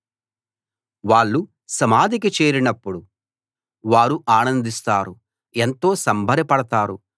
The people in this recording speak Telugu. వాళ్ళు సమాధికి చేరినప్పుడు వారు ఆనందిస్తారు ఎంతో సంబరపడతారు